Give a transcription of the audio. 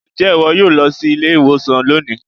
Ǹjẹ́ ìwọ yóò lọ sí ilé-ìwòsàn lónìị?